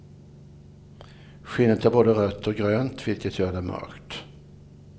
Skinnet är både rött och grönt, vilket gör det mörkt.